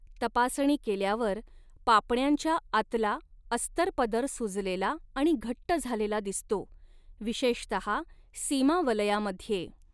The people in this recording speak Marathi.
तपासणी केल्यावर, पापण्यांच्या आतला अस्तरपदर सुजलेला आणि घट्ट झालेला दिसतो, विशेषतहा सीमावलयामध्ये.